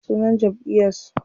Ya sunan jamʼiyar su?